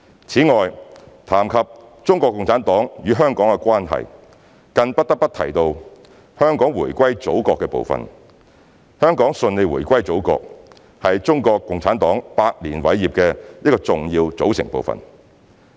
此外，談及中國共產黨與香港的關係，更不得不提到香港回歸祖國的部分。香港順利回歸祖國是中國共產黨百年偉業的一個重要組成部分。